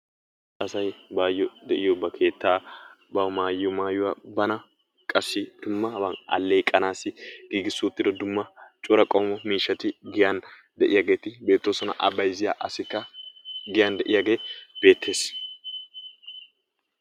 Asay bayo deiyo ba keettaa bawu maayiyo maayuwaa bana qassi dummaban alleeqisanasi gigisi uttido dumma cora qommo miishshati giyan de'iyageti beetosona. a bayzziya asikka giyan deiyage beetees.